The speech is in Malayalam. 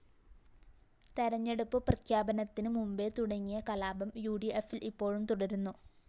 തെരഞ്ഞെടുപ്പ് പ്രഖ്യാപനത്തിന് മുമ്പേ തുടങ്ങിയ കലാപം യുഡിഎഫില്‍ ഇപ്പോഴും തുടരുന്നു